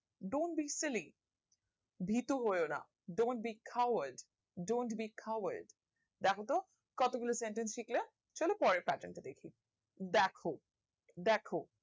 don't be stupid ভীতু হওনা don't be covered don't be covered দ্যাখো তো কত গুলো sentence শিখলে চলো পরের pattern টা দেখি দ্যাখো দ্যাখো